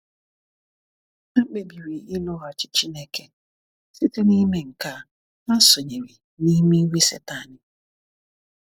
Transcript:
Ha kpebiri ịlụghachi Chineke. Site n’ime nke a, ha sonyere n’ime iwe Satani.